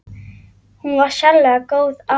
Hún var sérlega góð amma.